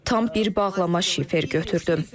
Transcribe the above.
Tam bir bağlama şifer götürdüm.